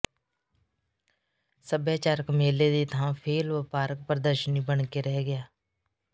ਸੱਭਿਆਚਾਰਕ ਮੇਲੇ ਦੀ ਥਾਂ ਫ਼ੇਲ੍ਹ ਵਪਾਰਕ ਪ੍ਰਦਰਸ਼ਨੀ ਬਣ ਕੇ ਰਹਿ ਗਿਆ